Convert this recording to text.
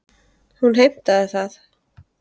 Hún heimtaði það.